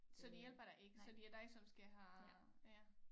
Så de hjælper dig ikke så det er dig som skal have ja